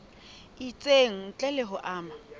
itseng ntle le ho ama